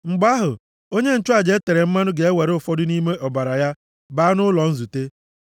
Mgbe ahụ, onye nchụaja e tere mmanụ ga-ewere ụfọdụ nʼime ọbara ya baa nʼụlọ nzute.